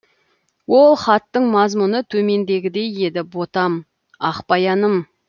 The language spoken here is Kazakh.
ол хаттың мазмұны төмендегідей еді ботам ақбаяным